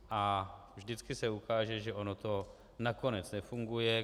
A vždycky se ukáže, že ono to nakonec nefunguje.